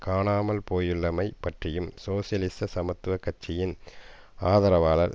காணாமல் போயுள்ளமை பற்றியும் சோசியலிச சமத்துவ கட்சியின் ஆதரவாளர்